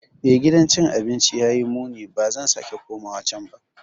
Eh, gidan cin abinci ya yi muni - ba zan sake komawa can ba.